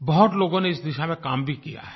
बहुत लोगों ने इस दिशा में काम भी किया है